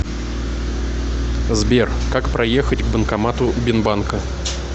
сбер как проехать к банкомату бинбанка